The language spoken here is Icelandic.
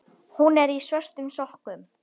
Hún er í svörtum sokkum.